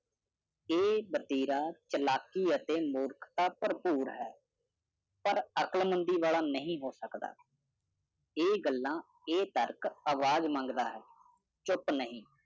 ਏ ਚਲਾਕੀ ਅਤੇ ਮੂਰਖਤਾ ਭਰਪੂਰ ਹੈ ਪਰ ਅਕਲਮੰਦੀ ਵਾਲਾ ਨਹੀਂ ਹੋ ਸਕਦਾ। ਏ ਗੱਲਾਂ ਇਹ ਤਰਕ ਆਵਾਜ਼ ਮੰਗਦਾ ਚੁੱਪ ਨਹੀਂ।